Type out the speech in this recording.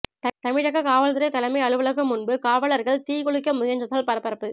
தமிழக காவல்துறை தலைமை அலுவலகம் முன்பு காவலர்கள் தீக்குளிக்க முயன்றதால் பரபரப்பு